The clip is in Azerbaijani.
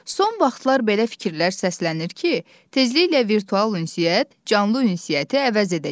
Son vaxtlar belə fikirlər səslənir ki, tezliklə virtual ünsiyyət canlı ünsiyyəti əvəz edəcək.